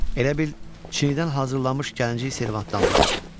Elə bil Çindən hazırlanmış gəlinciyə servatdan düşüb.